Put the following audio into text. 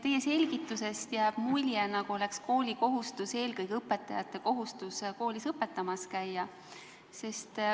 Teie selgitusest jääb mulje, nagu oleks koolikohustus eelkõige õpetajate kohustus koolis õpetamas käia.